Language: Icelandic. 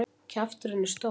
Kjafturinn er stór.